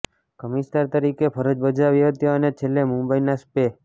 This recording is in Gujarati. કમિશનર તરીકે ફરજ બજાવી હતી અને છેલ્લે મુંબઈના સ્પે